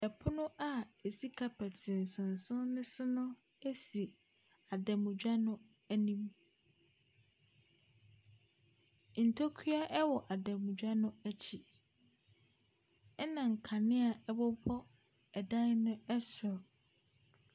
Pono a ɛsi carpet nsonson no so si adamadwa no anim. Ntokua wɔ adamadwa no akyi, ɛnna nkanea bobɔ dan no soro.